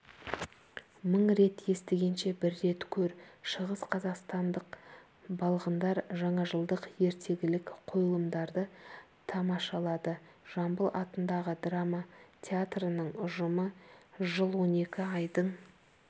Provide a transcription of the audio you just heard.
мың рет естігенше бір рет көр шығыс қазақстандық балғындар жаңажылдық ертегілік қойылымдарды тамашалады жамбыл атындағы драма театрының ұжымы жыл он екі айдың